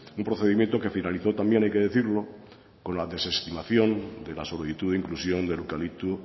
un procedimiento que finalizó también hay que decirlo con la desestimación de la solicitud de inclusión del eucalipto